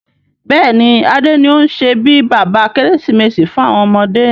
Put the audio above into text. Bẹ́ẹ̀ni, Adé ni o n ṣe bí bàbá Kérésìmesì fún àwọn ọmọdé.